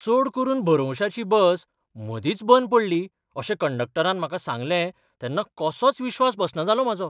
चड करून भरवंशाची बस मदींच बंद पडली अशें कंडक्टरान म्हाका सांगलें तेन्ना कसोच विश्वास बसलो ना म्हजो !